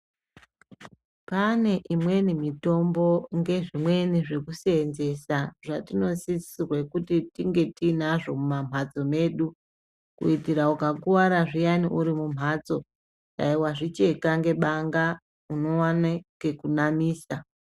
Pane imweni mitombo ngezvimweni zvekuseenzesa zvatinosisirwe kuti tinge tiinazvo mumamhatso mwedu kuitira ukakuwara zviyani uri mumhatso dayi wazvicheka ngebanga unowane chekunamisa.